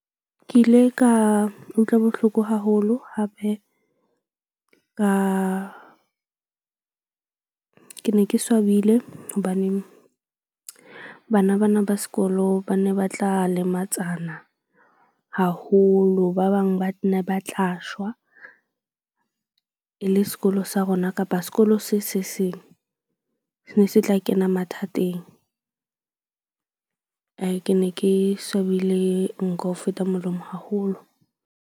Ke ile ka utlwa bohloko haholo hape ka ke ne ke swabile hobane bana bana ba sekolo ba ne ba tla lematsana haholo. Ba bang ba ne ba tla shwa e le sekolo sa rona kapa sekolo se se seng se ne se tla kena mathateng. Ke ne ke swabile nko ho feta molomo haholo.